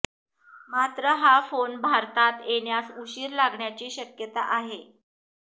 मात्र हा फोन भारतात येण्यास उशीर लागण्याची शक्यता आहे